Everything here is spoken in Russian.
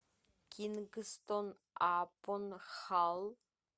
кингстон апон халл